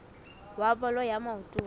wa bolo ya maoto wa